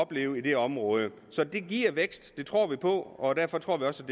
have i det område så det giver vækst det tror vi på og derfor tror vi også